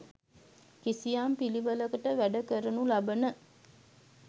කිසියම් පිළිවෙළකට වැඩ කරනු ලබන